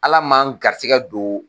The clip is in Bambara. ALA ma n garisɛgɛ don.